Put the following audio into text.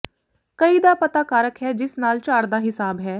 ਕਈ ਦਾ ਪਤਾ ਕਾਰਕ ਹੈ ਜਿਸ ਨਾਲ ਝਾੜ ਦਾ ਹਿਸਾਬ ਹੈ